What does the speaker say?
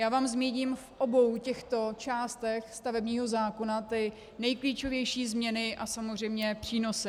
Já vám zmíním v obou těchto částech stavebního zákona ty nejklíčovější změny a samozřejmě přínosy.